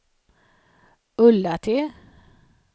Ullatti